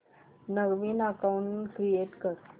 नवीन account create कर